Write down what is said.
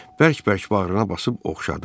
Bərk-bərk bağrına basıb oxşadı.